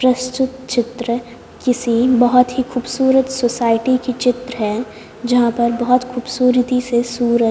प्रस्तुत चित्र किसी बहुत ही खूबसूरत सोसाइटी की चित्र है जहाँ पर बहुत खूबसूरती से सूरत--